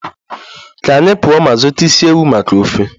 Ka anyị pụọ ma zụta isi ewu maka ofe